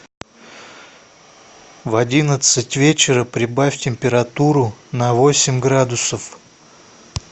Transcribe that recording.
в одиннадцать вечера прибавь температуру на восемь градусов